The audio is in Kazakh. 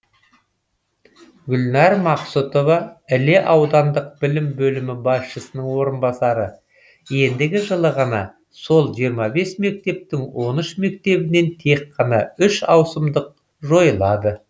гүлнар мақсұтова іле аудандық білім бөлімі басшысының орынбасары ендігі жылы ғана сол жиырма бес мектептің он үш мектебінен тек қана үш ауысымдық жойылады